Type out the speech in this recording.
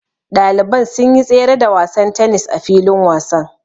Ɗaliban sun yi tsere da wasan tennis a filin wasan.